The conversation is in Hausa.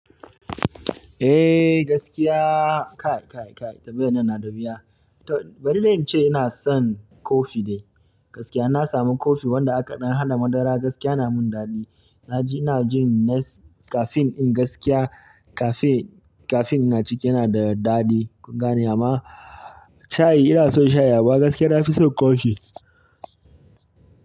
Eh gaskiya kai, kai, kai tambayan nan na da wuya. Bari dai in ce ina son kofi dai. Gaskiya ina samu kofi wanda aka dan hada madara, gaskiya yana min daɗi. Na ji ina jin nes caffeine din gaskiya cafe caffeine na ciki yana da daɗi. Gane amma shayi ina son shayi, amma gaskiya na fi son kofi.